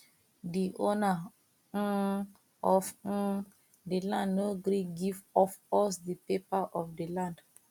the owner um of um the land no gree give of us the paper of the land